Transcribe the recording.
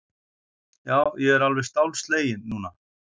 Já, ég er alveg stálsleginn núna!